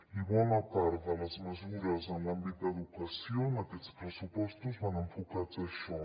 i bona part de les mesures en l’àmbit d’educació en aquests pressupostos van enfocades a això